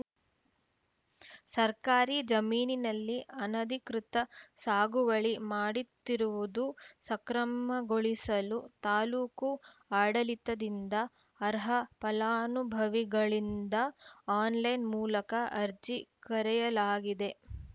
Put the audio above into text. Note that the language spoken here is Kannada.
ಸರ್ಕಾರಿ ಜಮೀನಿನಲ್ಲಿ ಅನಧಿಕೃತ ಸಾಗುವಳಿ ಮಾಡುತ್ತಿರುವುದು ಸಕ್ರಮಗೊಳಿಸಲು ತಾಲೂಕು ಆಡಳಿತದಿಂದ ಅರ್ಹ ಫಲಾನುಭವಿಗಳಿಂದ ಆನ್‌ಲೈನ್‌ ಮೂಲಕ ಅರ್ಜಿ ಕರೆಯಲಾಗಿದೆ